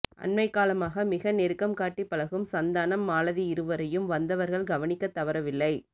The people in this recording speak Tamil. அண்மைக் காலமாக மிக நெருக்கம் காட்டிப் பழகும் சந்தானம் மாலதி இருவரையும் வந்தவர்கள் கவனிக்கத் தவறவில்லை